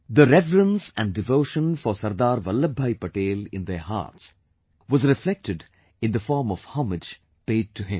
The reverence and devotion for Sardar Vallabhbhai Patel in their hearts was reflected in the form of homage paid to him